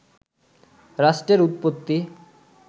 রাষ্ট্রের উৎপত্তি